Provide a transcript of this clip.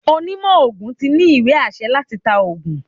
Onímo ogún tí ní íwe-ásẹ latÌ ta ọ̀gùn